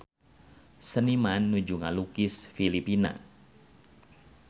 Seniman nuju ngalukis Filipina